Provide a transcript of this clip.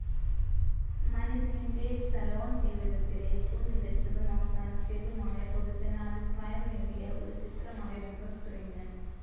മനെറ്റിന്റെ salon ജീവിതത്തിലെ ഏറ്റവും മികച്ചതും അവസാനത്തേതുമായ പൊതുജനാഭിപ്രായം നേടിയ ഒരുചിത്രമായിരുന്നു സ്പ്രിംഗ്.